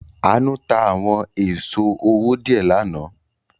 Àánú ta àwọn èso owó díẹ̀ lánàá.